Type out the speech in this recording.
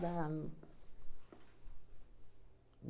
Dá não.